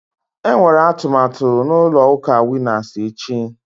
Enwere atụmatụ na ụlọ ụka Winas echi